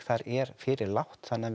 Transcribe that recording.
þar er fyrir lágt þannig að